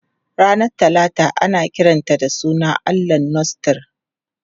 Ranar Talata ana kiranta da sunan allahn Norse Tyr.